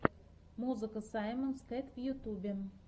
музыка саймонс кэт в ютюбе